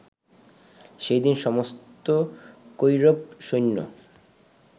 সেই দিন সমস্ত কৌরবসৈন্য